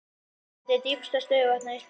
Hvert er dýpsta stöðuvatn á Íslandi?